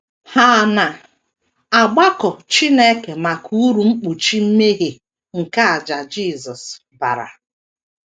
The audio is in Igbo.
Ha na - agbakọ Chineke maka uru mkpuchi mmehie nke àjà Jisọs bara.